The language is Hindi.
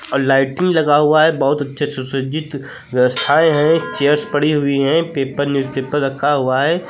लाइटिंग लगा हुआ है बहुत अच्छे सुसज्जित व्यवस्थाएं हैं चेयर्स पड़ी हुई हैं पेपर न्यूज़पेपर रखा हुआ है।